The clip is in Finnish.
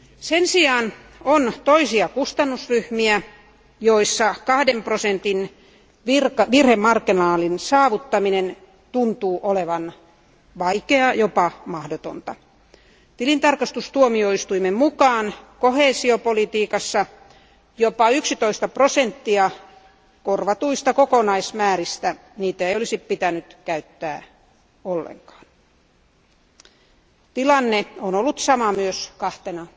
Sen sijaan on muita kustannusryhmiä, joissa kahden prosentin virhemarginaalin saavuttaminen tuntuu olevan vaikeaa, jopa mahdotonta. Tilintarkastustuomioistuimen mukaan koheesiopolitiikassa jopa 11 prosenttia korvatuista kokonaismääristä on sellaisia, joita ei olisi pitänyt käyttää ollenkaan. Tilanne on ollut sama myös kahtena